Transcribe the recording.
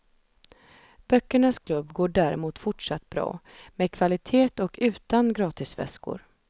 Böckernas klubb går däremot fortsatt bra, med kvalitet och utan gratisväskor.